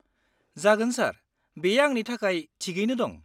-जागोन सार, बेयो आंनि थाखाय थिगैनो दं।